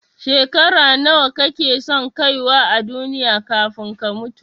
Shekara nawa kake son kaiwa a duniya kafin ka mutu?